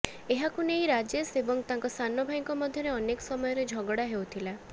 ଏହାକୁ ନେଇ ରାଜେଶ ଏବଂ ତାଙ୍କ ସାନ ଭାଇଙ୍କ ମଧ୍ୟରେ ଅନେକ ସମୟରେ ଝଗଡା ହେଉଥିଲା